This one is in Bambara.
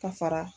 Ka fara